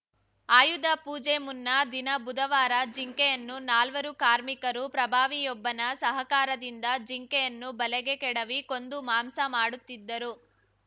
ಆಯುಧ ಪೂಜೆ ಮುನ್ನಾ ದಿನ ಬುಧವಾರ ಜಿಂಕೆಯನ್ನು ನಾಲ್ವರು ಕಾರ್ಮಿಕರು ಪ್ರಭಾವಿಯೊಬ್ಬನ ಸಹಕಾರದಿಂದ ಜಿಂಕೆಯನ್ನು ಬಲೆಗೆ ಕೆಡವಿ ಕೊಂದು ಮಾಂಸ ಮಾಡುತ್ತಿದ್ದರು